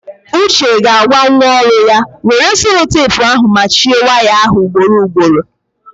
Uche ga-agwa nwa ọrụ ya, were selotepu ahụ machie waya ahụ ugboro ugboro!